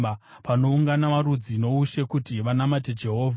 panoungana marudzi noushe kuti vanamate Jehovha.